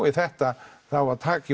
í þetta það á að taka